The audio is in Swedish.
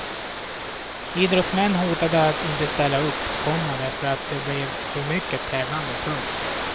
Idrottsmän hotade att inte ställa upp, komma därför att det blev för mycket tävlande. punkt